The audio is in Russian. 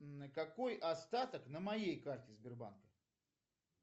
какой остаток на моей карте сбербанка